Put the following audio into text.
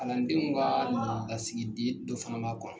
Kalandenw ka la lasigiden dɔ fana b'a kɔnɔ.